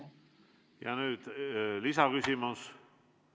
Nüüd lisaküsimus.